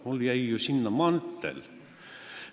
Mul jäi ju sinna mantel!